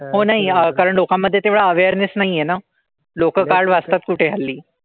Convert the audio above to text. हो नाही. कारण लोकांमधे तेवढा awareness नाही आहे ना. लोकं काय वाचतात कुठे हल्ली.